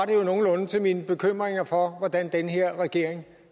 det jo nogenlunde til mine bekymringer for hvordan den her regering